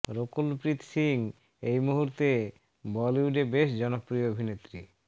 রকুল প্রীত সিং এই মূর্হুতে বলিউডে বেশ জনপ্রিয় অভিনেত্রী